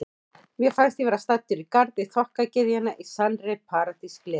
Mér fannst ég vera staddur í garði þokkagyðjanna, í sannri paradís gleðinnar.